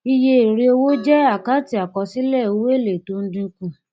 iye èrèowó jẹ àkáǹtì àkọsílẹ owó èlé tó ń dínkù